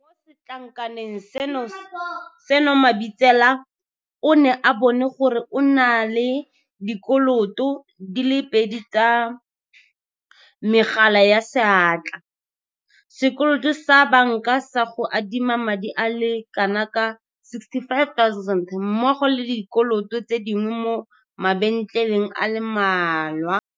Mo setlankaneng seno Mabitsela o ne a bona gore o na le dikoloto di le pedi tsa megala ya seatla, sekoloto sa banka sa go adima madi a le kanaka R65 000 mmogo le dikoloto tse dingwe mo mabentleleng a le mmalwa.